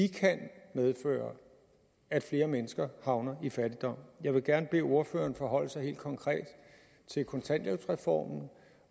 kan medføre at flere mennesker havner i fattigdom jeg vil gerne bede ordføreren forholde sig helt konkret til kontanthjælpsreformen